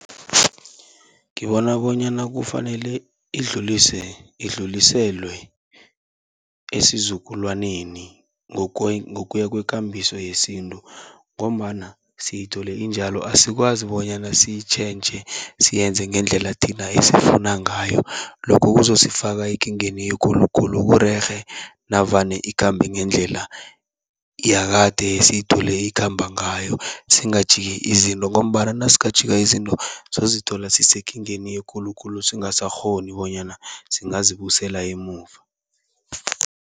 Ngibona bonyana kufanele idluliselwe esizukulwaneni ngokuya kwekambiso yesintu, ngombana siyithole injalo asikwazi bonyana siyitjhentjhe siyenze ngendlela thina esiyifuna ngayo. Lokho kuzosifaka ekingeni ekulu khulu, kurerhe navane ikhambe ngendlela yakade esiyithole ikhamba ngayo singajiki izinto. Ngombana nasingajika izinto sizozithola sisekingeni ekulu khulu, singasakghoni bonyana singazibuyisela emuva.